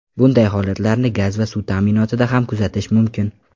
Bunday holatlarni gaz va suv ta’minotida ham kuzatish mumkin.